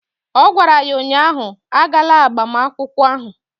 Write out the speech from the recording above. Ọ gwara ya ụnyaahụ "Agala agbamakwụkwọ ahụ"!